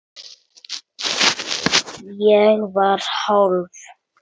Ég var hálf